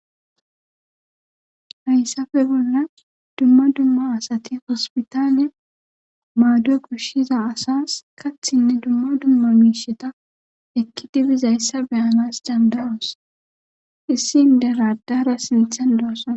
hayssafe bolla dumma dumma asati hospitaane maaddue kushshiza asas kathinne dumma dumma miisheta ekki dibizayssa beyanas dandaroos issi inderadara sinthan dosona